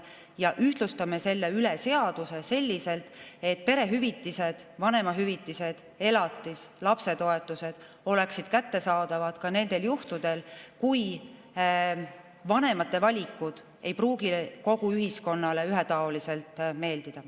Me ühtlustame selle üle seaduse selliselt, et perehüvitised, vanemahüvitised, elatis ja lapsetoetused oleksid kättesaadavad ka nendel juhtudel, kui vanemate valikud ei pruugi kogu ühiskonnale ühetaoliselt meeldida.